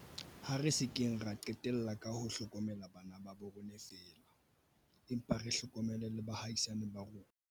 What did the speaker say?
Ha re se keng ra qetella ka ho hlokomela bana ba rona feela, empa re hlokomele le ba baahisani ba rona.